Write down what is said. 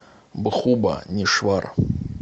бхубанешвар